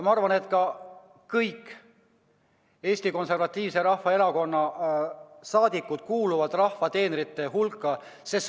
Ma arvan, et kõik Eesti Konservatiivse Rahvaerakonna saadikud kuuluvad rahva teenrite hulka.